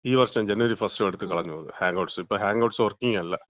ഈ വർഷം ജനുവരി ഫസ്റ്റോ എടുത്ത് കളഞ്ഞ് ഹാങ് ഔട്ട്സ്, ഇപ്പം ഹാങ് ഔട്ട്സ് വർക്കിങ് അല്ല.